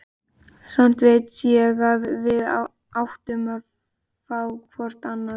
Samt veit ég að við áttum að fá hvort annað.